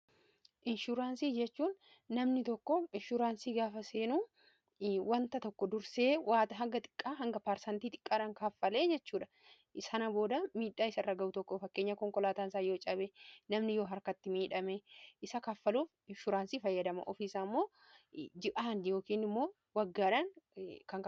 inshuuraansii jechuun namni tokko inshuuraansii gaafa seenuu wanta tokko dursee waata hagga xiqqaa hanga paarsantii xiqqaadha kaaffalee jechuudha sana booda miidhaa isa irra ga'u tokko fakkeenya konkolaataa isaa yoo cabe namni yoo harkatti miidhame isa kaffaluuf inshuuraansii fayyadama ofiisa ammoo ji'aani yookiin immoo waggaadhaa